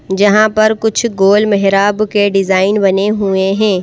जहां पर कुछ गोल मेहराब के डिज़ाइन बने हुए ।